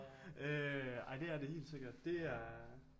Ej det er det helt sikkert det er